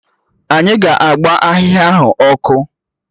Anyị ga-agba ahịhịa ahụ ọkụ